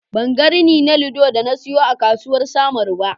Ban ga rini na lido da na siyo a kasuwar samaru ba.